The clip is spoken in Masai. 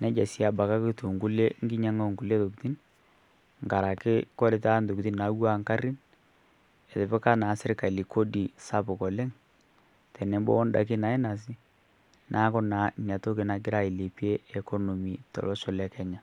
neja sii abake etuu nkinyang'a oo nkule tokitin nkaraki kore taata ntokitin naatuwuana nkarrin etipika naa sirkali kodi sapuk oleng' tenebo naa o ndaki naainosi naaku naa nia toki nagira ailepie economy to losho le Kenya.